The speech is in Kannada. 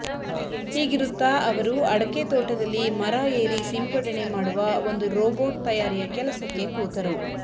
ಹೀಗಿರುತ್ತಾ ಅವರು ಅಡಕೆ ತೋಟದಲ್ಲಿ ಮರ ಏರಿ ಸಿಂಪಡಣೆ ಮಾಡುವ ಒಂದು ರೋಬೋಟ್ ತಯಾರಿಯ ಕೆಲಸಕ್ಕೆ ಕೂತರು